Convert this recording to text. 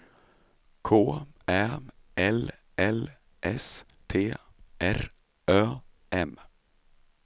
K Ä L L S T R Ö M